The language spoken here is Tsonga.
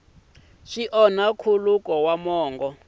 swi onhi nkhuluko wa mongo